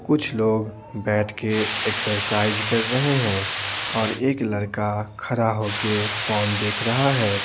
कुछ लोग बैठ के एक्सरसाइज कर रहे हैं और एक लड़का खड़ा होके फोन देख रहा है।